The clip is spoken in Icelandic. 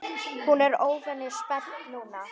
Hún er óvenju spennt núna.